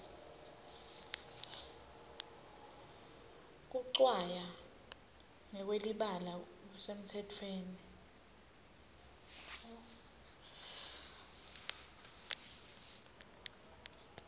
kucwaya ngekwelibala bekusemtsetweni